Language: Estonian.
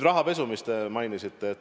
Rahapesu, mida te mainisite.